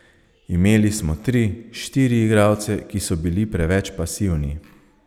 Imeli smo tri, štiri igralce, ki so bili preveč pasivni.